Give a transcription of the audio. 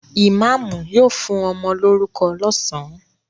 Ìmáámù yóò fún ọmọ lórúkọ lọ́sàn-án.